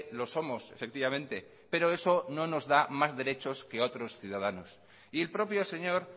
lo somos efectivamente pero eso no nos da más derechos que a otros ciudadanos y el propio señor